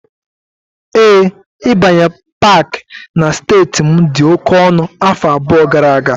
Ee, ịbanye Pááki na steeti m dị oke ọnụ afọ abụọ gara aga